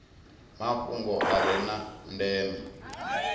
mafhungo a re na ndeme